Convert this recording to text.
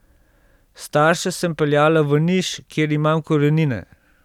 Starše sem peljala v Niš, kjer imam korenine.